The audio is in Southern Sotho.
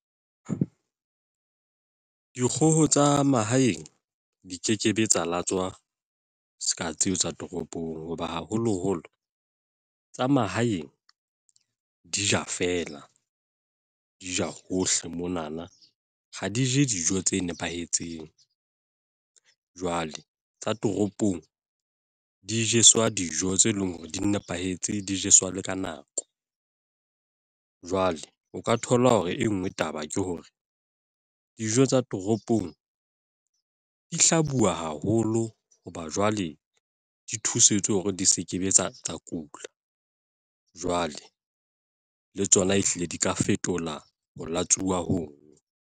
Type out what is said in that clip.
Dikgoho tsa mahaeng, di kekebe tsa latswa seka tseo tsa toropong. Ho ba haholo holo, tsa mahaeng di ja feela. Di ja hohle monana, ha di je dijo tse nepahetseng. Jwale tsa toropong, di jeswa dijo tse leng hore di nepahetse di jeswa le ka nako. Jwale o ka thola hore e nngwe taba ke hore, dijo tsa toropong di hlabuwa haholo hoba jwale di thusetswe hore di se ke be tsa tsa kula. Jwale, le tsona e hlile di ka fetola ho latswuwa hoo.